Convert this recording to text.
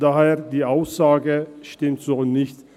Daher stimmt die Aussage so nicht.